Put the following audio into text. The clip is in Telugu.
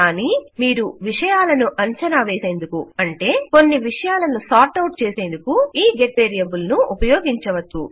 కానీ మీరు విషయాలను అంచనా వేసేందుకు అంటే కొన్ని విషయాలను క్రమీకరించేందుకు ఈ గెట్ వేరియబుల్ ను ఉపయోగించవచ్చు